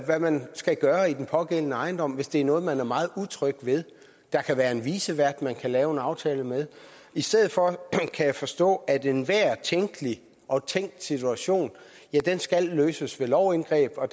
hvad man skal gøre i den pågældende ejendom hvis der er noget man er meget utryg ved der kan være en vicevært man kan lave en aftale med i stedet for kan jeg forstå at enhver tænkelig og tænkt situation skal løses ved lovindgreb og